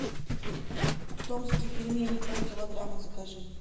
томские пельмени пол килограмма закажи